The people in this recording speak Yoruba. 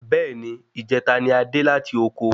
Bẹ́ẹ̀ni ijeta ni adé láti oko